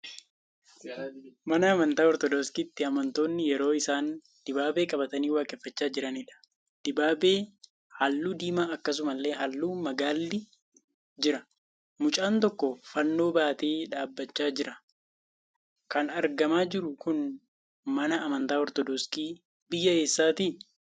Mana amantaa Ortodoksiitti amantoonni yeroo isaan dibaabee qabatanii waaqeeffachaa jiraniidha. Dibaabee halluu diimaa akkasumallee halluun magaalli jira. Mucaan tokko Fannoo baatee dhaabbachaa jira. Kan argamaa jiru kun mana amantaa Ortodoksii biyya eessaatti?